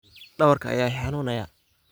Dawarka aya iihanunaya.